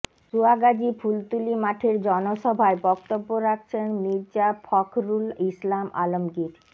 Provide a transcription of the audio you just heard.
সুয়াগাজী ফুলতলী মাঠের জনসভায় বক্তব্য রাখছেন মির্জা ফখরুল ইসলাম আলমগীর